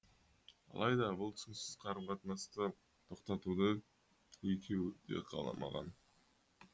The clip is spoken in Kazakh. алайда бұл түсініксіз қарым қатынасты тоқтатуды екеуі де қаламаған